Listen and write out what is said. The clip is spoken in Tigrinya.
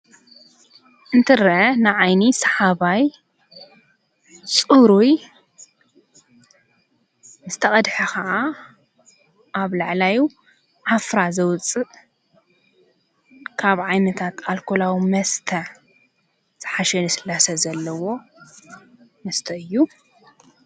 እንትረ ንዓይኒ ሰሓባይ ጽሩይ ምስ ተቐድሐ ኸዓ ኣብ ላዕላዩ ሓፍራ ዘውፅእ ካብ ዓይ ምታት ኣልኮላዊ መስተ ሠሓሸኒ ስላሰ ዘለዎ መስተ እዩ::